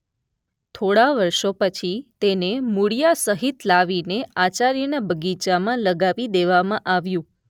થોડા વર્ષ પછી તેને મૂળિયા સહિત લાવીને આચાર્યના બગીચામાં લગાવી દેવામાં આવ્યું.